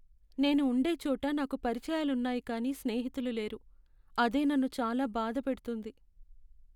నేను ఉండే చోట నాకు పరిచయాలున్నాయి కానీ స్నేహితులు లేరు, అదే నన్ను చాలా బాధ పెడుతుంది.